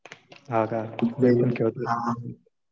हा का. मी पण खेळतो.